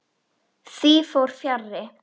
Því fór fjarri.